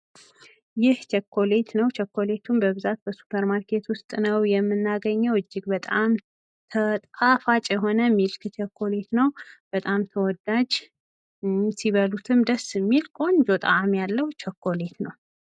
ይህ ቾኮሌት ነው። ቾኮሌቱም በብዛት በሱፐር ማርኬት ውስጥ ነው የምናገኘው። እጅግ በጣም ጣፋጭ የሆነ ሚልክ ቾኮሌት ነው። በጣም ተወዳጅ ሲበሉትም ደስ የሚል ቆንጆ ጣዕም ያለው ቸኮሌት ነው።